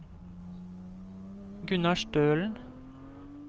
Gunnar Stølen